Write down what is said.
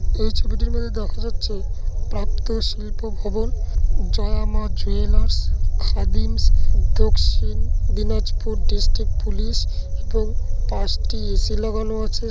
এই ছবিটির মধ্যে দেখা যাচ্ছে প্রাপ্ত শিল্প ভবন Joya Ma jewellers Khadims Dakshin Dinajpur district police এবং পাঁচটি এ.সি লাগানো আছে।